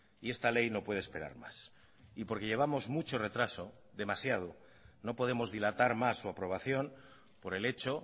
y esta ley no puede esperar más y porque llevamos mucho retraso demasiado no podemos dilatar más su aprobación por el hecho